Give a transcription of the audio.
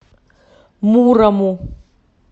мурому